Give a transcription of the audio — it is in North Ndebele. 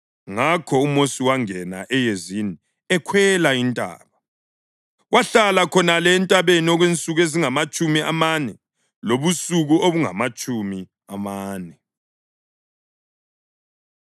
Ngakho uMosi wangena eyezini ekhwela intaba. Wahlala khonale entabeni okwensuku ezingamatshumi amane lobusuku obungamatshumi amane.